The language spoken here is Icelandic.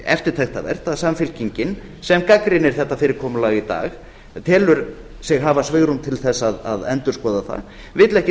eftirtektarvert að samfylkingin sem gagnrýnir þetta fyrirkomulag í dag telur sig hafa svigrúm til þess að endurskoða það vill ekki